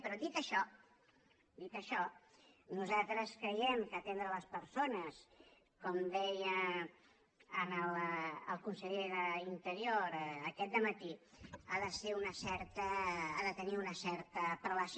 però dit això dit això nosaltres creiem que atendre les persones com deia el conseller d’interior aquest dematí ha de tenir una certa prelació